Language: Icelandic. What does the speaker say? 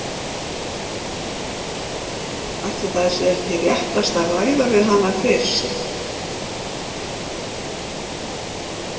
Ætli það sé ekki réttast að ræða við hana fyrst?